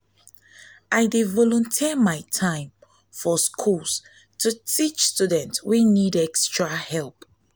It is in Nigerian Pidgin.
i dey volunteer my time for schools to teach students wey need extra help.